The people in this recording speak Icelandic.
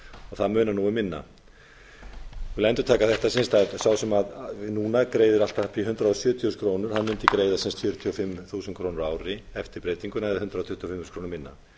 það munar nú um minna ég vil endurtaka þetta sá sem núna greiðir allt að upp í hundrað sjötíu þúsund krónur mundi greiða fjörutíu og fimm þúsund krónur á ári eftir breytinguna eða hundrað tuttugu og fimm þúsund krónum minna